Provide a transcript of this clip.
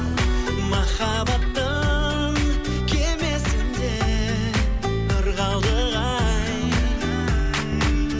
махаббаттың кемесінде ырғалдық ай